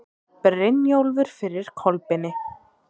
Brynjólfur fyrir Kolbeini.